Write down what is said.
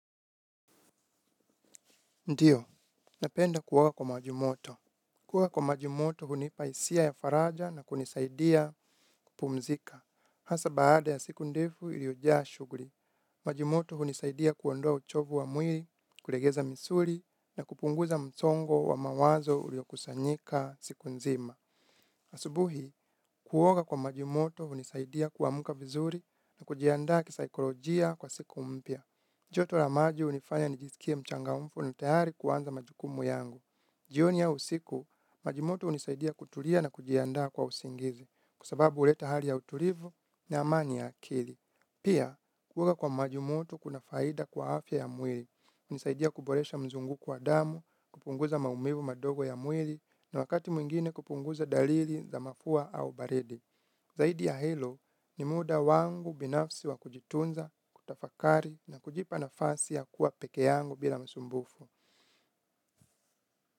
Ndiyo, napenda kuoga kwa maji moto. Kuwa kwa maji moto hunipa hisia ya faraja na kunisaidia kupumzika. Hasa baada ya siku ndefu iliyojaa shughuli. Maji moto hunisaidia kuondoa uchovu wa mwili, kulegeza misuli, na kupunguza msongo wa mawazo uliokusanyika siku nzima. Asubuhi, kuoga kwa maji moto hunisaidia kuamka vizuri na kujiandaa kisaikolojia kwa siku mpya. Joto la maji hunifanya nijisikie mchangamfu na tayari kuanza majukumu yangu. Jioni au usiku, maji moto hunisaidia kutulia na kujiandaa kwa usingizi, kwa sababu huleta hali ya utulivu na amani ya akili. Pia, kuoga kwa maji moto kuna faida kwa afya ya mwili. Hunisaidia kuboresha mzunguko wa damu, kupunguza maumivu madogo ya mwili, na wakati mwingine kupunguza dalili za mafua au baridi. Zaidi ya helo ni muda wangu binafsi wa kujitunza, kutafakari na kujipa nafasi ya kuwa peke yangu bila masumbufu.